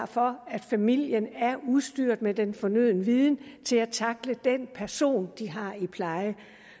for at familien er udstyret med den fornødne viden til at tackle den person de har i pleje